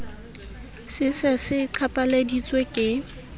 se se se qhaphaleditswe ke